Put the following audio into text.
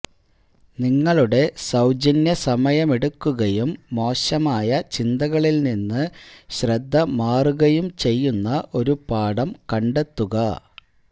നിങ്ങളുടെ സൌജന്യ സമയമെടുക്കുകയും മോശമായ ചിന്തകളിൽ നിന്ന് ശ്രദ്ധ മാറുകയും ചെയ്യുന്ന ഒരു പാഠം കണ്ടെത്തുക